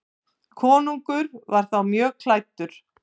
Konungur var þá mjög klæddur.